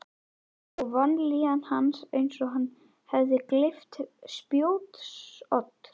Og vanlíðan hans eins og hann hefði gleypt spjótsodd.